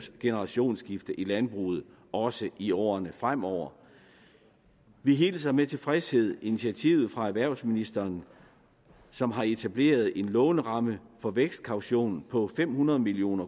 generationsskiftet i landbruget også i årene fremover vi hilser med tilfredshed initiativet fra erhvervsministeren som har etableret en låneramme for vækstkaution på fem hundrede million